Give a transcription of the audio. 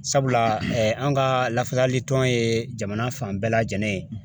Sabula an ka lafasali tɔn ye jamana fan bɛɛ lajɛlen ye.